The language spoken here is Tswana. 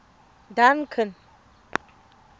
duncan